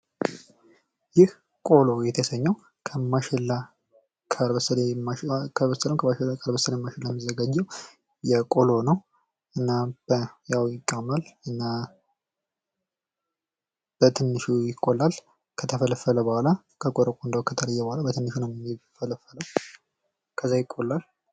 ይህ ቆሎ የተሰኘው ከበሰላ ማሽላ ከበሰለ የሚዘጋጅ ቆሎ ነው እና በትንሹ ይቆላል ከተፈለፈለ በኋላ ቆረቆንዳው ከተለየ በኋላ በትንሹ ይፈለፈላል። ከዛ ይቆላል።